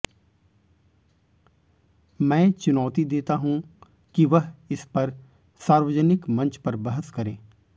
मैं चुनौती देता हूं कि वह इस पर सार्वजनिक मंच पर बहस करें